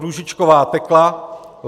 Růžičková Tekla